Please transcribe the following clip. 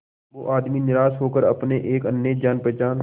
वो आदमी निराश होकर अपने एक अन्य जान पहचान